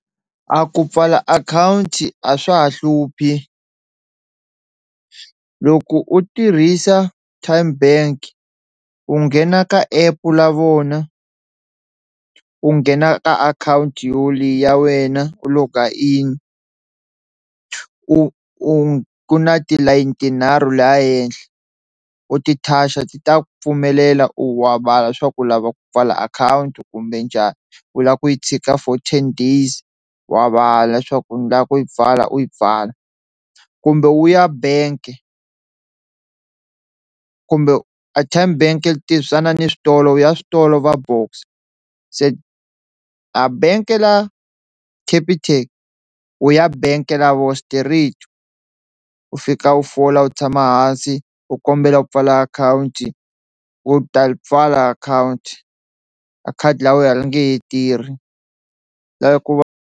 A ku pfala akhawunti a swa ha hluphi loko u tirhisa Tyme bank u nghena ka app la vona u nghena ka akhawunti yoliya ya wena u loga in u u u ku na tilayini tinharhu laha ehenhla, u ti touch ti ta ku pfumelela u wa swa ku u lava ku pfala akhawunti kumbe njhani u lava ku yi chika for ten days wa vala leswaku ni lava ku yi pfala u yi pfala, kumbe wu ya bank kumbe a Tyme bank yi tirhisana ni switolo u ya switolo va Boxer se a benke la Capitec u ya bank lavo straight, u fika u fola u tshama hansi u kombela u pfala akhawunti wu ta li pfala akhawunti a khadi la wehe a li nge tirhi la ve ku va.